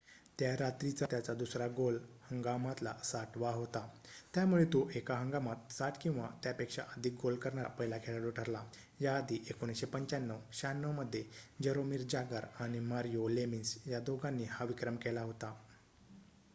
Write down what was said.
त्या रात्रीचा त्याचा दुसरा गोल हंगामातला ६० वा होता. त्यामुळे तो एका हंगामात ६० किंवा त्यापेक्षा अधिक गोल करणारा पहिला खेळाडू ठरला याआधी १९९५-९६ मध्ये जरोमिर जागर आणि मारिओ लेमिन्स या दोघांनी हा विक्रम केला होता